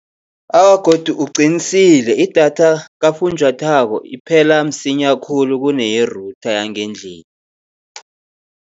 Awa, godu uqinisile idatha kafunjathwako iphela msinya khulu, kuneye-router yangendlini.